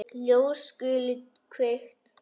Ljós skulu kveikt.